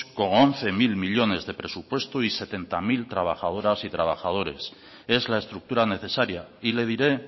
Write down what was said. con once mil millónes de presupuesto y setenta mil trabajadoras y trabajadores es la estructura necesaria y le diré